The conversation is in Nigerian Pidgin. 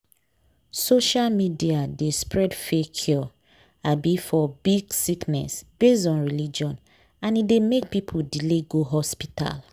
social media dey spread fake cure um for big sickness based on religion and e dey make people delay go hospital.